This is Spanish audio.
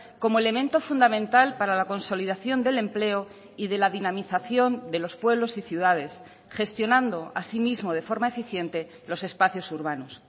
como elemento fundamental para la consolidación del empleo y de la dinamización de los pueblos y ciudades gestionando así mismo de forma eficiente los espacios urbanos